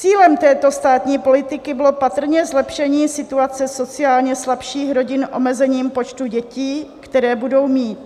Cílem této státní politiky bylo patrně zlepšení situace sociálně slabších rodin omezením počtu dětí, které budou mít.